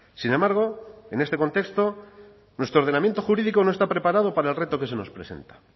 sin embargo en este contexto nuestro ordenamiento jurídico no está preparado para el reto que se nos presenta